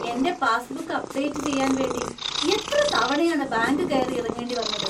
എൻ്റെ passbook update ചെയ്യാൻ വേണ്ടി എത്ര തവണയാണ് ബാങ്ക് കയറി ഇറങ്ങേണ്ടി വന്നത്!